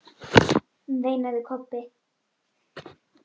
veinaði Kobbi.